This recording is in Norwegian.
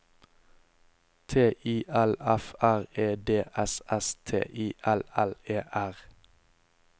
T I L F R E D S S T I L L E R